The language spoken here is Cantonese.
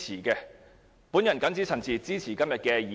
我謹此陳辭，支持今天的議案。